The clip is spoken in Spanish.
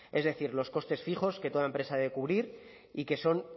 es decir los costes fijos que toda empresa debe cubrir y que son